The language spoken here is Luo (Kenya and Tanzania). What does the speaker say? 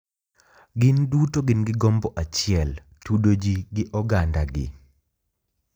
Gin duto gin gi gombo achiel. Tudo ji gi ogandagi,